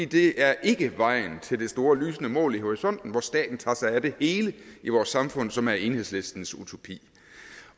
det er ikke vejen til det store lysende mål i horisonten hvor staten tager sig af det hele i vores samfund som er enhedslistens utopi